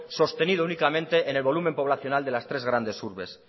sostenido únicamente en el volumen poblacional de las tres grandes urbes